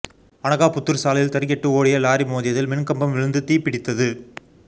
அனகாபுத்தூர் சாலையில் தறிகெட்டு ஓடிய லாரி மோதியதில் மின்கம்பம் விழுந்து தீப்பிடித்தது